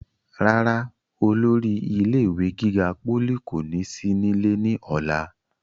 rárá, olórí ilé ìwé gíga pólì kò ní sí nílé ní ọ̀la